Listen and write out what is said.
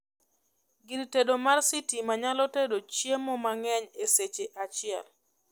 Gir tedo mar sitima nyalo tedo chiemo mang'eny e seche achiel